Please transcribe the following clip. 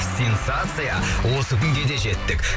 сенсация осы күнге де жеттік